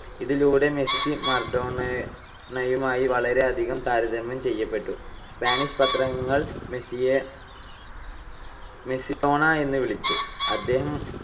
ഇതിലൂടെ മെസ്സി മറഡോണയുമായി വളരെയധികം താരതമ്യം ചെയ്യപ്പെട്ടു. സ്പാനിഷ് പത്രങ്ങൾ മെസ്സിയെ മെസ്സിഡോണ എന്ന് വിളിച്ചു. അദ്ദേഹം